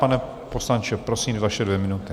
Pane poslanče, prosím, vaše dvě minuty.